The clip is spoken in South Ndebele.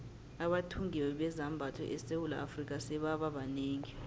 abathungi bezambatho esewula afrika sebaba banengi